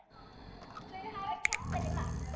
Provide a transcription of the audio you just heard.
Þau hafi kennt henni margt.